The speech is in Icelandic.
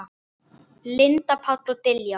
Linda, Páll og Diljá.